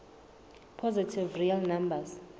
positive real numbers